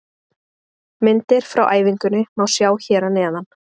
Myndir frá æfingunni má sjá hér að neðan.